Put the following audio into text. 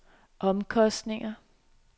omkostninger